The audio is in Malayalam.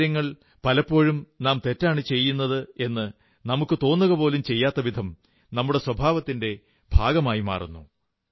ചില കാര്യങ്ങൾ പലപ്പോഴും നാം തെറ്റാണു ചെയ്യുന്നതെന്നു നമുക്കു തോന്നുകപോലും ചെയ്യാത്തവിധം നമ്മുടെ സ്വഭാവത്തിന്റെ ഭാഗമായിപ്പോകുന്നു